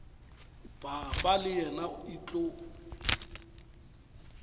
papa le yena e tlo